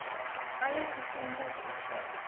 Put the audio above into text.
eie gesondheid aanvaar